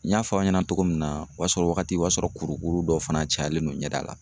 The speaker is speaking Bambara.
N y'a fɔ aw ɲɛna togo min na o y'a sɔr'ɔ wagati o y'a sɔrɔ kurukuru dɔ fana cayalen don ɲɛda la.